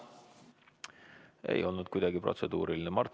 See ei olnud protseduuriline küsimus.